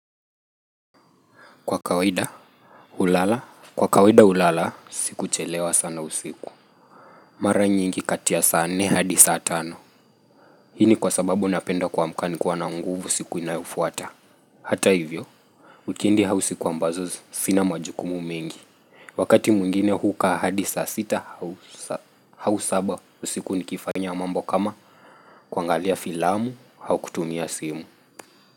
Kwa kawaida, hulala, kwa kawaida hulala, sikuchelewa sana usiku Mara nyingi kati ya saa nne hadi saa tano Hii ni kwa sababu napenda kuamka nikiwa na nguvu siku inayofuata Hata hivyo, wikendi au siku ambazo sina majukumu mengi Wakati mwingine hukaa hadi saa sita, au saba usiku nikifanya mambo kama kuangalia filamu, au kutumia simu.